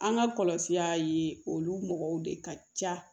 An ka kɔlɔsi olu mɔgɔw de ka ca